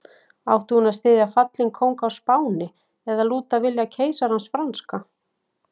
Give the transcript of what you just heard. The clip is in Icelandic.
Átti hún að styðja fallinn kóng á Spáni eða lúta vilja keisarans franska?